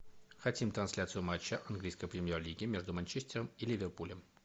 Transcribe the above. хотим трансляцию матча английской премьер лиги между манчестером и ливерпулем